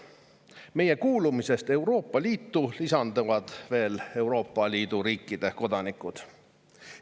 Euroopa Liitu kuulumise tõttu lisanduvad nendele veel Euroopa Liidu riikide kodanikud.